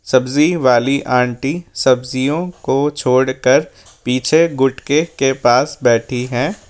सब्जी वाली आंटी सब्जियों को छोड़कर पीछे गुटके के पास बैठी है।